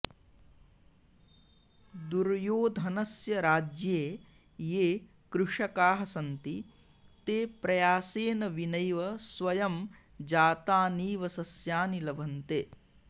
दुर्योधनस्य राज्ये ये कृषकाः सन्ति ते प्रयासेन विनैव स्वयं जातानीव सस्यानि लभन्ते